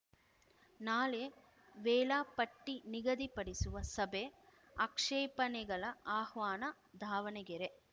ನಾಳೆ ವೇಳಾಪಟ್ಟಿನಿಗದಿಪಡಿಸುವ ಸಭೆ ಆಕ್ಷೇಪಣೆಗಳ ಆಹ್ವಾನ ದಾವಣಗೆರೆ